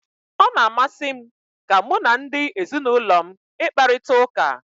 Ọ na-amasị m ka mụ na ndị ezinụlọ m ị kparita ụka.